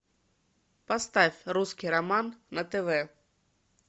поставь русский роман на тв